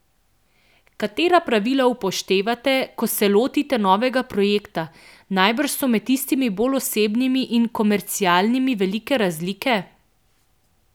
Katera pravila upoštevate, ko se lotite novega projekta, najbrž so med tistimi bolj osebnimi in komercialnimi velike razlike?